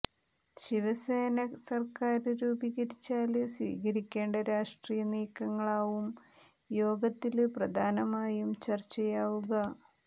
ശിവസേന സര്ക്കാര് രൂപീകരിച്ചാല് സ്വീകരിക്കേണ്ട രാഷ്ട്രീയ നീക്കങ്ങളാവും യോഗത്തില് പ്രധാനമായും ചര്ച്ചയാവുക